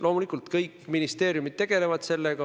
Loomulikult kõik ministeeriumid tegelevad sellega.